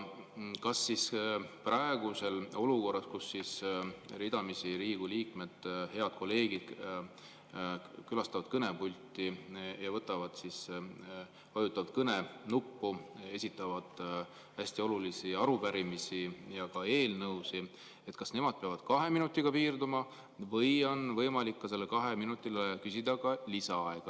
Kas praeguses olukorras, kus ridamisi Riigikogu liikmed, head kolleegid, külastavad kõnepulti ja vajutavad kõnenuppu, esitavad hästi olulisi arupärimisi ja eelnõusid, kas nemad peavad kahe minutiga piirduma või on võimalik sellele kahele minutile lisaaega paluda?